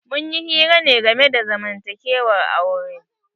Munyi hira ne game da zamantakewar aure.